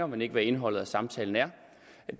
men ikke hvad indholdet af samtalen er